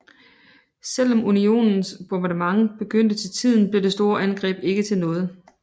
Selv om unionens bombardement begyndte til tiden blev det store angreb ikke til noget